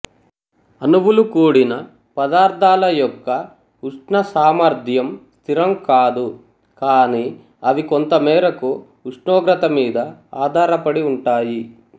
అణువులు కూడిన పదార్ధాల యొక్క ఉష్ణ సామర్థ్యం స్థిరం కాదు కానీ అవి కొంతమీరాకు ఉష్ణోగ్రత మీద ఆధారపడి ఉంటాయి